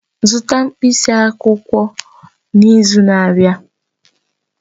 Zụta mkpịsị akwụkwọ n'izu na-abịa!